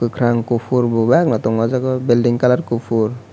kwkhwrang kuphur bo bebak no tongo o jaga building colour kuphur.